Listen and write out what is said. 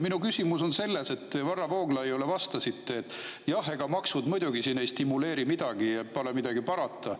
Minu küsimus on selle kohta, et Varro Vooglaiule te vastasite, et jah, ega maksud muidugi ei stimuleeri, ent midagi pole parata.